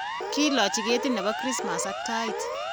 kilochi ketit ne bo krismas ak tait.